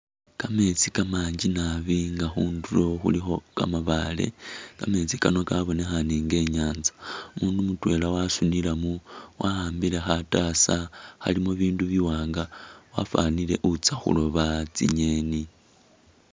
Kameetsi kamangi naabi nga khunduro khulikho kamabaale kameetsi kano kabonekhane inga inyatsa, umundu mutwela wasunilamo wahambile khataasa khalimo bindu biwanga wafanile utsa khuloba tsingeni.